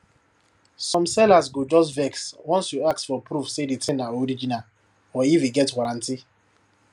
some sellers go just vex once you ask for proof say di thing na original or if e get warranty